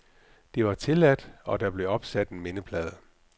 Det var tilladt, og der blev opsat en mindeplade.